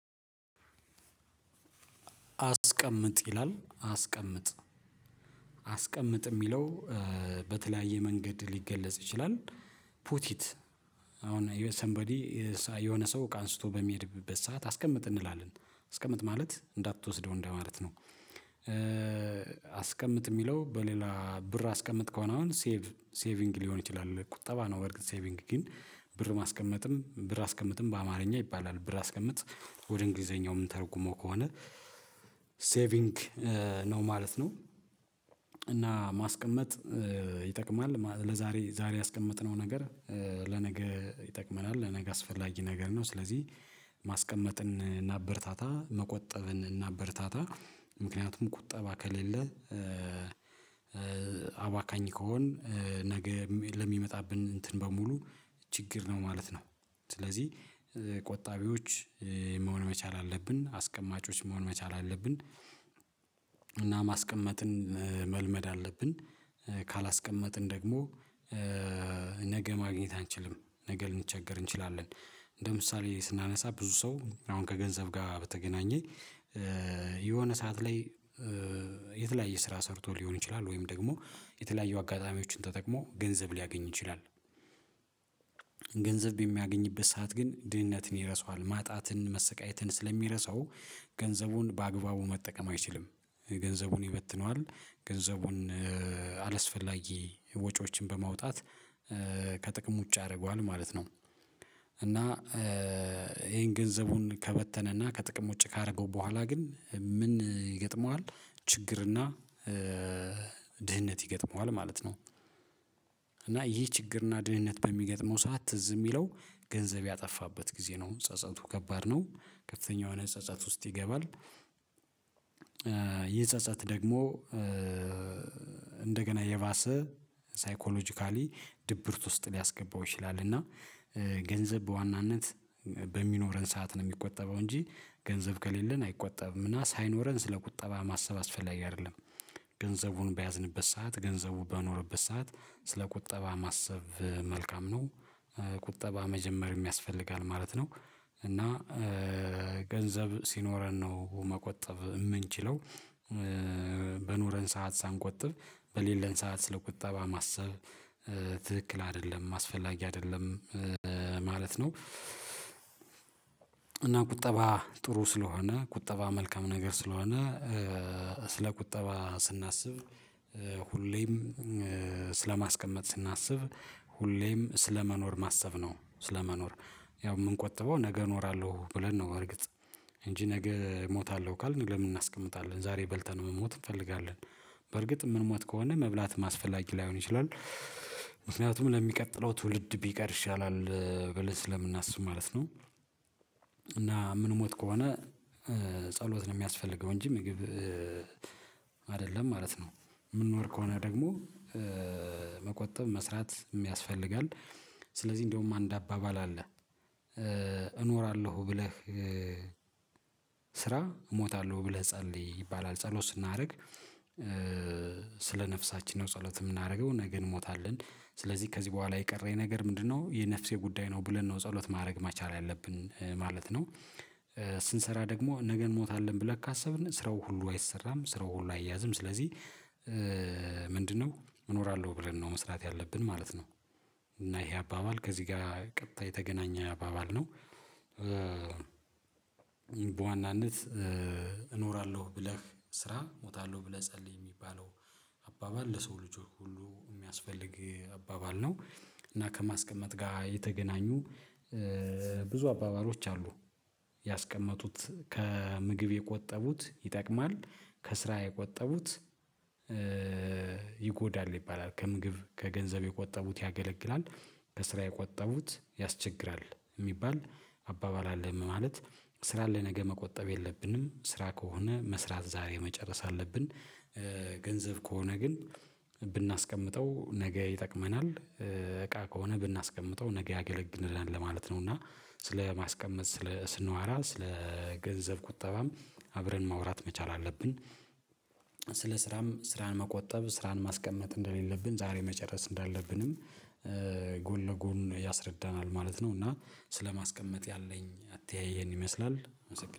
አስቀምጥ ይላል አስቀምጥ አስቀምጥ የሚለው በተለያየ መንገድ ሊገለጽ ይችላል። ፑት ኢት አሁን ሰምበዲ የሆነ ሰው አንስቶ በሚሄድበት ሰዓት አስቀምጥ እንላለን አስቀምጥ ማለት እንዳትወስደው እንደማለት ነው። አስቀምጥ የሚለው በሌላ ብር አስቀምጥ ከሆነ አሁን ሴቭ ሴቪንግ ሊሆን ይችላል ቁጠባ ነው። በርግጥ ሴቪንግ ግን ብር ማስቀመጥም ብር አስቀምጥም በአማርኛ ይባላል ብር አስቀምጥ። ወደ እንግሊዘኛው ምን ተርጉሞ ከሆነ ሴቪንግ ነው ማለት ነው። እና ማስቀመጥ ይጠቅማል ለዛሬ ዛሬ ያስቀመጥነው ነገር ለነገ ይጠቅመናል ለነገ አስፈላጊ ነገር ነው። ስለዚህ ማስቀመጥን እናበረታታ መቆጠብን እናበረታታ። ምክንያቱም ቁጠባ ከሌለ አባካኝ ከሆን ነገ ለሚመጣብን እንትን በሙሉ ችግር ነው ማለት ነው። ስለዚህ ቆጣቢዎች መሆን መቻል አለብን አስቀማጮች መሆን መቻል አለብን። እና ማስቀመጥን መልመድ አለብን። ካላስቀመጥን ደግሞ ነገ ማግኘት አንችልም ነገ ልንቸገር እንችላለን። እንደ ምሳሌ ስናነሳ ብዙ ሰው አሁን ከገንዘብ ጋር በተገናኘኝ የሆነ ሰዓት ላይ ስራ ሰርቶ ሊሆን ይችላል ወይም ደግሞ የተለያየ አጋጣሚዎችን ተጠቅሞ ገንዘብ ሊያገኝ ይችላል። ገንዘብ በሚያገኝበት ሰዓት ግን ድህነትን ይረሳዋል ማጣትን መሰቃየትን ስለሚረሳው ገንዘቡን በአግባቡ መጠቀም አይችልም። ገንዘቡን ይበትነዋል። ገንዘቡን አላስፈላጊ ወጪዎችን በማውጣት ከጥቅም ውጪ ያደርገዋል ማለት ነው። እና ይሄን ገንዘቡን ከበተነና ከጥቅም ውጪ ካደረገው በኋላ ግን ምን ይገጥመዋል? ችግርና ድህነት ይገጥመዋል ማለት ነው። እና ይህ ችግርና ድህነት በሚገጥመው ሰዓት ትዝ የሚለው ገንዘብ ያጠፋበት ጊዜ ነው ጸጸቱ ከባድ ነው። ከፍተኛ የሆነ ጸጸት ውስጥ ይገባል። ይህ ጸጸት ደግሞ እንደገና የባሰ ሳይኮሎጂካሊ ድብርት ውስጥ ሊያስገባው ይችላል። እና ገንዘብ በዋናነት በሚኖረን ሰዓት ነው የሚቆጠበው እንጂ ገንዘብ ከሌለን አይቆጠብምና ሳይኖረን ስለ ቁጠባ ማሰብ አስፈላጊ አይደለም። ገንዘቡን በያዝንበት ሰዓት ገንዘቡ በኖረበት ሰዓት ስለ ቁጠባ ማሰብ መልካም ነው። ቁጠባ መጀመር የሚያስፈልጋል ማለት ነው። እና ገንዘብ ሲኖረን ነው መቆጠብ የምንችለው። በኖረን ሰዓት ሳንቆጥብ በሌለን ሰዓት ስለቁጠባ ቁጠባ ማሰብ ትክክል አይደለም ማስፈላጊ አይደለም። ማለት ነው። እና ቁጠባ ጥሩ ስለሆነ ቁጠባ መልካም ነገር ስለሆነ ስለ ቁጠባ ስናስብ ሁሌም ስለማስቀመጥ ስናስብ ሁሌም ስለመኖር ማሰብ ነው። ስለመኖር ያው የምንቆጥበው ነገ እኖራለሁ ብለን ነው እርግጥ እንጂ ነገ እሞታለሁ ካልን ለምን እናስቀምጣለን ዛሬ በልተን መሞት እንፈልጋለን። በርግጥ የምንሞት ከሆነ መብላት ማስፈላጊ ላይሆን ይችላል። ምክንያቱም ለሚቀጥለው ትውልድ ቢቀር ይሻላል በለስ ለምናስብ ማለት ነው። እና ምን ሞት ከሆነ ጸሎት ነው የሚያስፈልገው እንጂ። ምግብ ማለት ነው። የምንኖር ከሆነ ደግሞ መቆጠብ መስራት የሚያስፈልጋል። ስለዚህ እንደውም አንድ አባባል አለ። እኖራለሁ ብለህ ስራ እሞታለሁ ብለህ ጸልይ ይባላል። ጸሎት ስናደርግ ስለ ነፍሳችን ነው ጸሎት የምናደርገው ነገ እንሞታለን። ስለዚህ ከዚህ በኋላ የቀረኝ ነገር ምንድነው? የነፍሴ ጉዳይ ነው ብለን ነው ጸሎት ማድረግ መቻል ያለብን ማለት ነው። ስንሰራ ደግሞ ነገን ሞታለን ብለክ ካሰብን ስራው ሁሉ አይሰራም። ስራው ሁሉ አይያዝም። ስለዚህ ምንድነው እኖራለሁ ብለን ነው መስራት ያለብን ማለት ነው። እና ይሄ አባባል ከዚህ ጋር ቀጥታ የተገናኘ አባባል ነው። በዋናነት እኖራለሁ ብለህ ስራ ሞታለሁ ብለህ ጸልይ የሚባለው አባባል ለሰው ልጆች ሁሉ የሚያስፈልግ አባባል ነው። እና ከማስቀመጥ ጋር የተገናኙ ብዙ አባባሎች አሉ። ያስቀመጡት ከምግብ የቆጠቡት ይጠቅማል። ከስራ የቆጠቡት ይጎዳል ይባላል። ከምግብ ከገንዘብ የቆጠቡት ያገለግላል። ከስራ የቆጠቡት ያስቸግራል። የሚባል አባባል አለም ማለት ስራ ለነገ መቆጠብ የለብንም ስራ ከሆነ መስራት ዛሬ መጨረስ አለብን። ገንዘብ ከሆነ ግን ብናስቀምጠው ነገ ይጠቅመናል። እቃ ከሆነ ብናስቀምጠው ነገ ያገለግልናል ለማለት ነው። እና ስለማስቀመጥ ስንዋራ ስለ ገንዘብ ቁጠባም አብረን ማውራት መቻል አለብን። ስለ ስራም ስራን መቆጠብ ስራን ማስቀመጥ እንደሌለብን ዛሬ መጨረስ እንዳለብንም ጎን ለጎን ያስረዳናል ማለት ነው። እና ስለማስቀመጥ ያለኝ አትያይህ ይሄን ይመስላል።